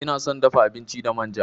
Ina son dafa abinci da manja.